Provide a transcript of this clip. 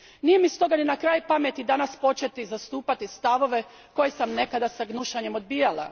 Nije mi stoga ni na kraj pameti danas početi zastupati stavove koje sam nekad s gnušanjem odbijala.